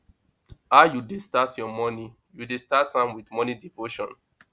how you dey start you morning you dey start am with morning devotion